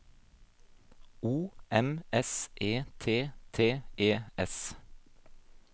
O M S E T T E S